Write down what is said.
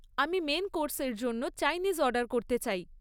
আমি মেন কোর্সের জন্য চাইনিজ অর্ডার করতে চাই।